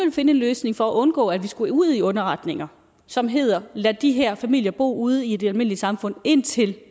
finde en løsning for at undgå at vi skulle ud i underretninger som hedder lad de her familier bo ude i det almindelige samfund indtil